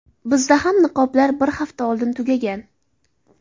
Bizda ham niqoblar bir hafta oldin tugagan.